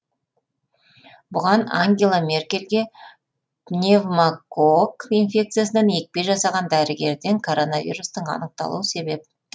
бұған ангела меркельге пневмокок инфекциясынан екпе жасаған дәрігерден коронавирустың анықталуы себеп